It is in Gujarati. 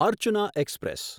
અર્ચના એક્સપ્રેસ